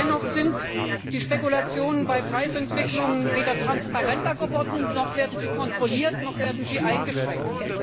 Dennoch sind die Spekulationen bei Preisentwicklungen weder transparenter geworden, noch werden sie kontrolliert oder eingeschränkt.